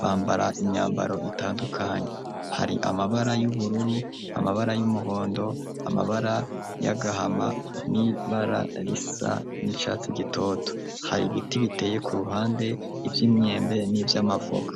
bambara imyambaro itandukanye hari amabara y'ubururu amabara y'umuhondo amabara y'agahama n'ibararisa n'icatsi gitoto hari biti biteye ku ruhande iby'imyembe n'iby'amavoka.